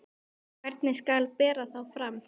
Hvernig skal bera þá fram?